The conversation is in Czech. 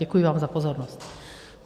Děkuji vám za pozornost.